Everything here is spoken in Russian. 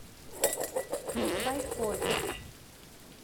байкове